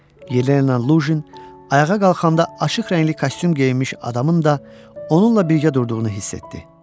Yelena Loşin ayağa qalxanda açıq rəngli kostyum geyinmiş adamın da onunla birgə durduğunu hiss etdi.